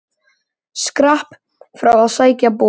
Skrapp frá að sækja bor.